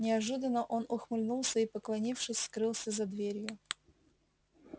неожиданно он ухмыльнулся и поклонившись скрылся за дверью